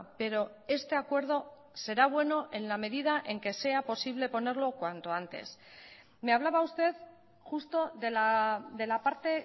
pero este acuerdo será bueno en la medida en que sea posible ponerlo cuanto antes me hablaba usted justo de la parte